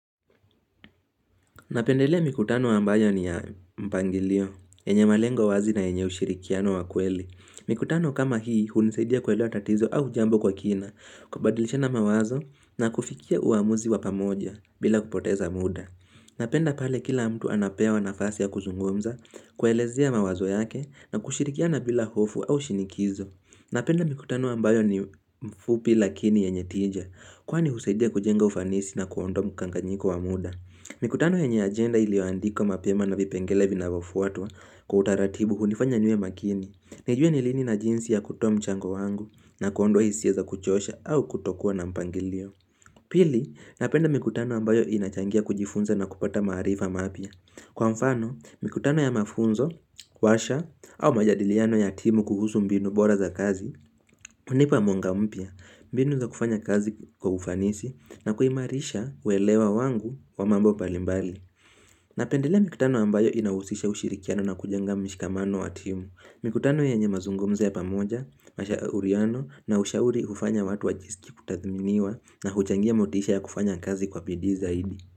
Napendelea mikutano ambayo ni ya mpangilio, yenye malengo wazi na yenye ushirikiano wa kweli. Mikutano kama hii, hunisaidia kuelewa tatizo au jambo kwa kina, kubadilishana mawazo na kufikia uamuzi wa pamoja bila kupoteza muda. Napenda pale kila mtu anapewa nafasi ya kuzungumza, kuelezea mawazo yake na kushirikiana bila hofu au shinikizo. Napenda mikutano ambayo ni mfupi lakini yenye tija, kwani husaidia kujenga ufanisi na kuondoa mkanganyiko wa muda. Mikutano yenye agenda iliyoandikwa mapema na vipengele vinavyofuatwa kwa utaratibu hunifanya niwe makini nijue ni lini na jinsi ya kutoa mchango wangu na kuondoa hisia za kuchosha au kutokuwa na mpangilio Pili, napenda mikutano ambayo inachangia kujifunza na kupata maarifa mapya Kwa mfano, mikutano ya mafunzo, warsha au majadiliano ya timu kuhusu mbinu bora za kazi hunipa mwanga mpya, mbinu za kufanya kazi kwa ufanisi na kuimarisha uelewa wangu wa mambo mbalimbali Napendelea mikutano ambayo inahusisha ushirikiano na kujenga mshikamano wa timu Mikutano yenye mazungumzo ya pamoja, mashauriano na ushauri hufanya watu wajisikie kutathminiwa na huchangia motisha ya kufanya kazi kwa bidii zaidi.